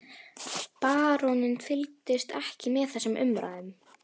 Baróninn fylgdist ekki með þessum umræðum.